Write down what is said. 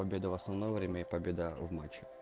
победа в основное время и победа в матче